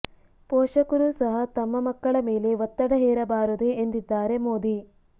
ಪೋಷಕರು ಸಹ ತಮ್ಮ ಮಕ್ಕಳ ಮೇಲೆ ಒತ್ತಡ ಹೇರಬಾರದು ಎಂದಿದ್ದಾರೆ ಮೋದಿ